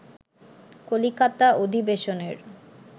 কলিকাতা অধিবেশনের